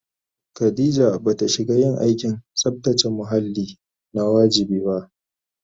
Khadija ba ta shiga yin aikin tsabtace muhalli na wajibi ba